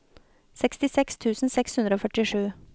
sekstiseks tusen seks hundre og førtisju